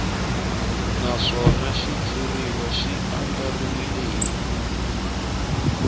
naswona xitshuriwa xi andlariwile hi